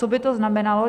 Co by to znamenalo?